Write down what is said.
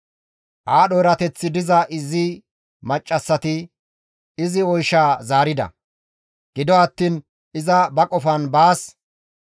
Aadho erateththi diza izi maccassati izi oyshaa zaarida; gido attiin iza ba qofan baas,